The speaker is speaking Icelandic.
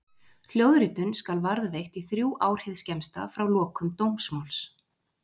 Hljóðritun skal varðveitt í þrjú ár hið skemmsta frá lokum dómsmáls.